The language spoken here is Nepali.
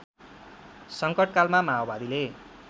सङ्कटकालमा माओवादीले